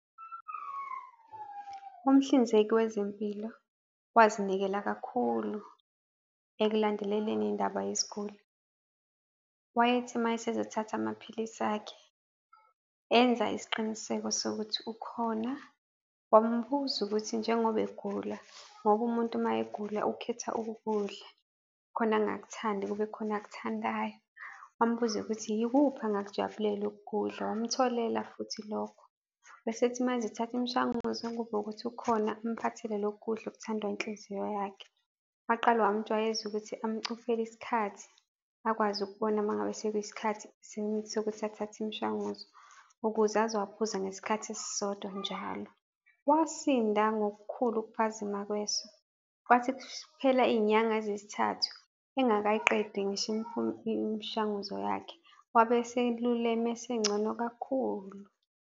Umhlinzeki wezempilo wazinikela kakhulu ekulandeleleni indaba yesiguli. Wayethi uma esezothatha amaphilisi akhe, enza isiqiniseko sokuthi ukhona, wambuza ukuthi njengoba egula, ngoba umuntu uma egula ukhetha okokudla, khona angakuthandi kube khona akuthandayo. Wambuza ukuthi, yikuphi angakujabulela ukukudla? Wamtholela futhi lokho. Bese ethi manje, thatha imishanguzo ngoba ukuthi ukhona amphathele lokhu kudla okuthandwa inhliziyo yakhe. Waqala wamjwayeza ukuthi amcuphele isikhathi akwazi ukubona uma ngabe sekuyisikhathi sokuthi athathe imishanguzo ukuze azowaphuza ngesikhathi esisodwa njalo. Wasinda ngokukhulu ukuphazima kweso. Kwathi kuphela iy'nyanga eziyisithathu engakayiqedi ngisho imishanguzo yakhe, wabe eseluleme esengcono kakhulu.